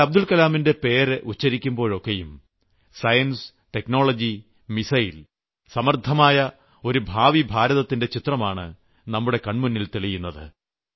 എന്നാൽ അബ്ദുൽകലാമിന്റെ പേര് ഉച്ചരിക്കുമ്പോഴൊക്കെയും സയൻസ് ടെക്നോളജി മിസൈൽ സമർത്ഥമായ ഒരു ഭാവിഭാരതത്തിന്റെ ചിത്രമാണ് നമ്മുടെ കൺമുന്നിൽ തെളിയുന്നത്